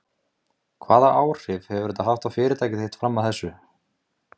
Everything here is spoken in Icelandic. María: Hvaða áhrif hefur þetta haft á fyrirtæki þitt fram að þessu?